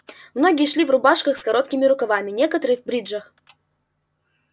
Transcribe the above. многие шли в рубашках с короткими рукавами некоторые в бриджах